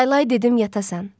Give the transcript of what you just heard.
Laylay dedim yatasan.